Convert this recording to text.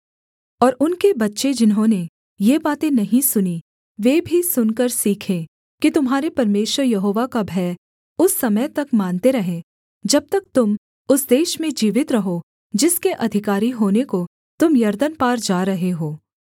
और उनके बच्चे जिन्होंने ये बातें नहीं सुनीं वे भी सुनकर सीखें कि तुम्हारे परमेश्वर यहोवा का भय उस समय तक मानते रहें जब तक तुम उस देश में जीवित रहो जिसके अधिकारी होने को तुम यरदन पार जा रहे हो